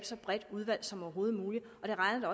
så bredt udvalg som overhovedet muligt det regner